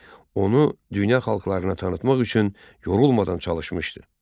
Onu dünya xalqlarına tanıtmaq üçün yorulmadan çalışmışdı.